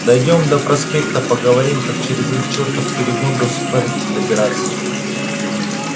дойдём до проспекта поговорим как через этот чертов перегон до сухаревки добираться